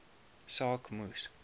saak moes